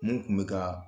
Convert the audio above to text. Mun kun bɛ ka